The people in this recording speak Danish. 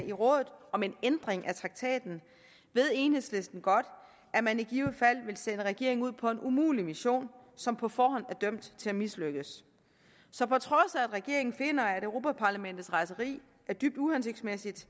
i rådet om en ændring af traktaten ved enhedslisten godt at man i givet fald vil sende regeringen ud på en umulig mission som på forhånd er dømt til at mislykkes så på trods af at regeringen finder at europa parlamentets rejseri er dybt uhensigtsmæssigt